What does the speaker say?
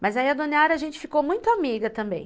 Mas aí a Don Yara, a gente ficou muito amiga também.